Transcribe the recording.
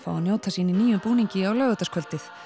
fá að njóta sín í nýjum búning á laugardagskvöldið